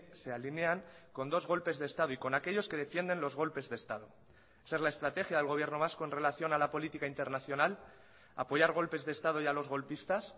se alinean con dos golpes de estado y con aquellos que defienden los golpes de estado esa es la estrategia del gobierno vasco en relación a la política internacional apoyar golpes de estado y a los golpistas